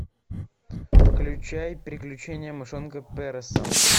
включай приключения мышонка переса